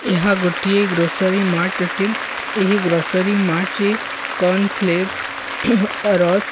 ଏହା ଗୋଟିଏ grocery mart in ଏହି ଗ୍ରୋସରି ମାର୍ଟ ରେ କର୍ଣ୍ଣ'ସ ଲେଜ୍ ରଷ୍କ୍ --